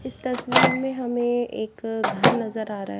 इस तस्वीर में हमें एक घर नजर आ रहा है।